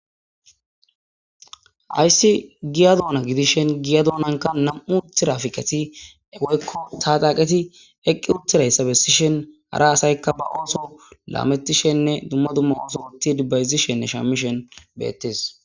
Hayssi giya duuna gidishen giya doonanka nam7u tirafiqeti ewoykko taa daqeti eqqi uttirayssa bessishen hara asaykka ba ooso laametishenne dumma dumma ooso utid bayzishenne shamishen beettes